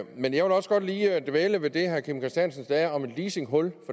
men jeg vil også godt lige dvæle ved det herre kim christiansen sagde om et leasinghul